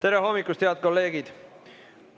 Tere hommikust, head kolleegid!